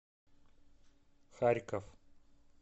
харьков